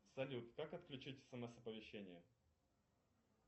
салют как отключить смс оповещения